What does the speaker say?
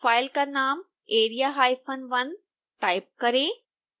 file का नाम area1 type करें